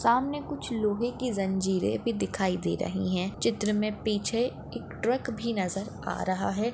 सामने कुछ लोहे की जंजीरे भी दिखाई दे रही है। चित्र मे पीछे एक ट्रक भी नजर आ रहा है।